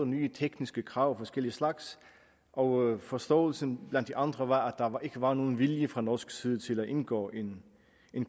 nye tekniske krav af forskellige slags og forståelsen blandt de andre var at ikke var nogen vilje fra norsk side til at indgå en